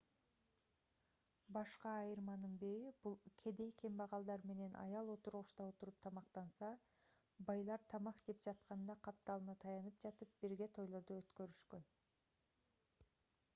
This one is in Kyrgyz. башка айырманын бири бул кедей-кембагалдар менен аял отургучта отуруп тамактанса байлар тамак жеп жатканда капталына таянып жатып бирге тойлорду өткөрүшкөн